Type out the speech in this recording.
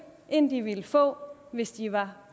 end de ville få hvis de var